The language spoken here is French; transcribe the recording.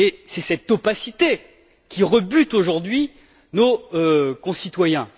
C'est cette opacité qui rebute aujourd'hui nos concitoyens.